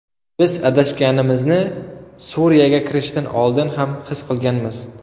Biz adashganimizni Suriyaga kirishdan oldin ham his qilganmiz.